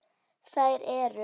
Þær eru